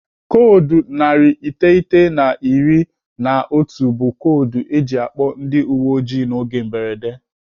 Koodu narị iteghete na iri na otu bụ koodu eji akpọ ndị uwe ojii n'oge mberede.